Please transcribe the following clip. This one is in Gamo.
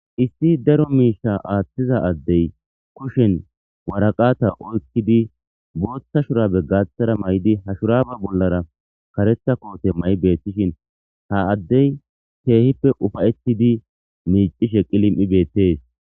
Issi daro misha athiza adey bee kushenewaraqata oykidi botha shurabe gathara mayidi ha shuraba bollara karetha kotte mayidi eqides ha adey kehippe ufayetidi micishe qilim'i betes